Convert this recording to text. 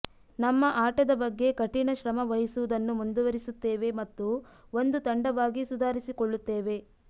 ನಮ್ಮ ಆಟದ ಬಗ್ಗೆ ಕಠಿಣ ಶ್ರಮ ವಹಿಸುವುದನ್ನು ಮುಂದುವರಿಸುತ್ತೇವೆ ಮತ್ತು ಒಂದು ತಂಡವಾಗಿ ಸುಧಾರಿಸಿಕೊಳ್ಳುತ್ತೇವೆ